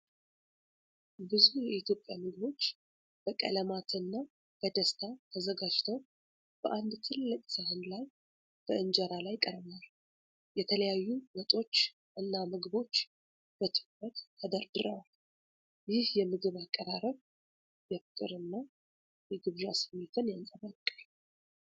ብዙ የኢትዮጵያ ምግቦች በቀለማት እና በደስታ ተዘጋጅተው፣ በአንድ ትልቅ ሳህን ላይ በእንጀራ ላይ ቀርበዋል። የተለያዩ ወጦች እና ምግቦች በትኩረት ተደርድረዋል። ይህ የምግብ አቀራረብ የፍቅር እና የግብዣ ስሜትን ያንጸባርቃል።